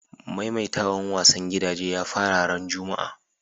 Maimaitawan wasan gidaje ya fara ran Juma'a.